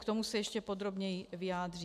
K tomu se ještě podrobněji vyjádřím.